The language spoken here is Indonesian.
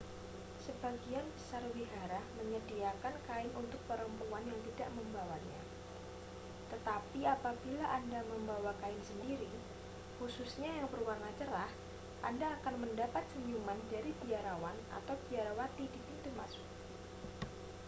sebagian besar wihara menyediakan kain untuk perempuan yang tidak membawanya tetapi apabila anda membawa kain sendiri khususnya yang berwarna cerah anda akan mendapat senyuman dari biarawan atau biarawati di pintu masuk